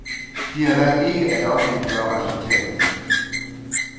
De har valgt ikke at offentliggøre resultatet.